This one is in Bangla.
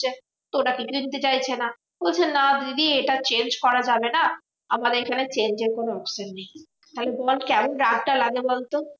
তো ওরা কিছুতেই নিতে চাইছে না। বলছে না দিদি এটা change করা যাবে না আমাদের এখানে change এর কোনো option নেই। তাহলে তোমার কেমন রাগটা লাগে বলতো?